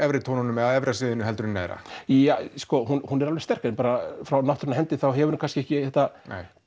á efra sviðinu heldur en neðra ja sko hún er alveg sterk en bara frá náttúrunnar hendi þá hefur hún kannski ekki þetta